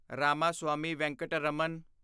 Ramaswami Venkataraman